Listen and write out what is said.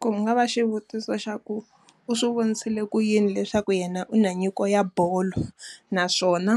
Ku nga va xivutiso xa ku, u swi vonisile ku yini leswaku yena u na nyiko ya bolo? Naswona,